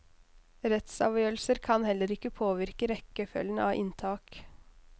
Rettsavgjørelser kan heller ikke påvirke rekkefølgen av inntak.